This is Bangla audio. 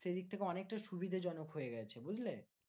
সেদিক থেকে অনেকটাই সুবিধেজনক হয়ে গেছে, বুঝলে?